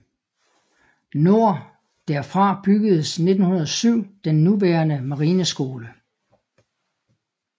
Nord derfra byggedes 1907 den nuværende marineskole